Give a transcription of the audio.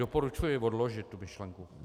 Doporučuji odložit tu myšlenku.